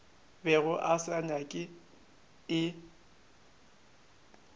bego a se nyaka e